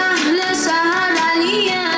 Əhli şəhərliyik.